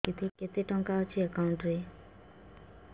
କେତେ ଟଙ୍କା ଅଛି ଏକାଉଣ୍ଟ୍ ରେ